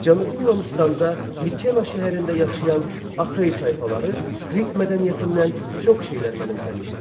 Cənubi Yunanıstanda Mikena şəhərində yaşayan Axey tayfaları Krit mədəniyyətini məhv etdilər.